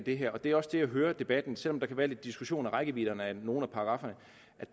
det her det er også det jeg hører af debatten selv om der kan være lidt diskussion om rækkevidden af nogle af paragrafferne